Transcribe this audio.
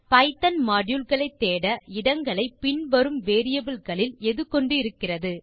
Python module களை தேட இடங்களை பின் வரும் வேரியபிள் களில் எது கொண்டு இருக்கிறது